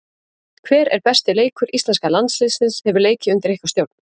Hver er besti leikur íslenska landsliðsins hefur leikið undir ykkar stjórn?